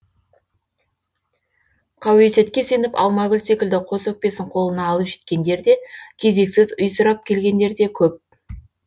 қауесетке сеніп алмагүл секілді қос өкпесін қолына алып жеткендер де кезексіз үй сұрап келгендер де көп